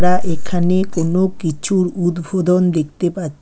তা এখানে কোনো কিছুর উদ্বোধন দেখতে পা--